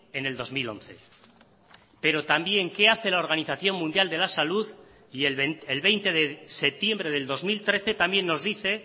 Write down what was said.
en el dos mil once pero también qué hace la organización mundial de la salud y el veinte de septiembre del dos mil trece también nos dice